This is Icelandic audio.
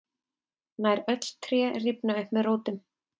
nær öll tré rifna upp með rótum